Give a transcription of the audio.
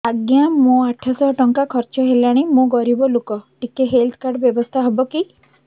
ଆଜ୍ଞା ମୋ ଆଠ ସହ ଟଙ୍କା ଖର୍ଚ୍ଚ ହେଲାଣି ମୁଁ ଗରିବ ଲୁକ ଟିକେ ହେଲ୍ଥ କାର୍ଡ ବ୍ୟବସ୍ଥା ହବ କି